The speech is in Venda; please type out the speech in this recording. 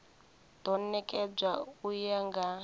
do nekedzwa u ya nga